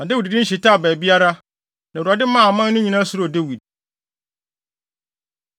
Na Dawid din hyetaa baabiara, na Awurade maa aman no nyinaa suroo Dawid.